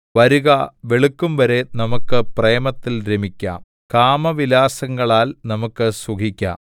വരുക വെളുക്കുംവരെ നമുക്ക് പ്രേമത്തിൽ രമിക്കാം കാമവിലാസങ്ങളാൽ നമുക്ക് സുഖിക്കാം